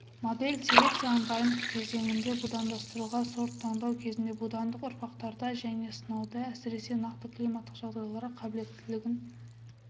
модель селекцияның дайындық кезеңінде будандастыруға сорт таңдау кезінде будандық ұрпақтарда және сынауда әсіресе нақты климаттық жағдайларға қабілеттілігін